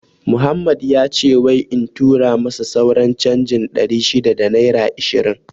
Muhammed wace wai in tura masa sauran canjin ɗari shida da naira ishirin